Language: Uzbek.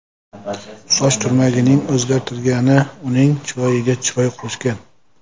Soch turmagining o‘zgartirgani uning chiroyiga chiroy qo‘shgan.